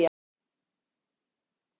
Dæja